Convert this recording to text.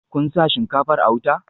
Kun sa shinkafar a wuta?